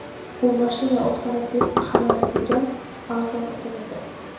bu mashina o‘txonasiga qalanadigan arzon o‘tin edi.